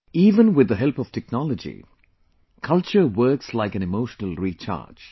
Even with the help of technology, culture works like an emotional recharge